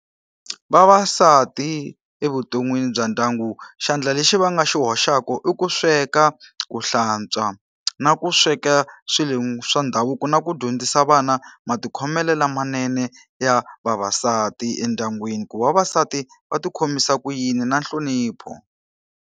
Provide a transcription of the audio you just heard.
Vavasati evuton'wini bya ndyangu xandla lexi va nga xi hoxaka i ku sweka, ku hlantswa, na ku sweka swilo swa ndhavuko, na ku dyondzisa vana matikhomelo lamanene ya vavasati endyangwini. Ku vavasati va ti khomisa ku yini, na nhlonipho.